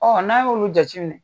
Ɔ n'a y'olu jate minɛ